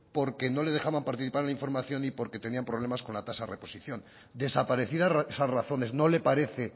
porque no le dejaban participar en la información y porque tenían problemas con la tasa de reposición desaparecidas esas razones no le parece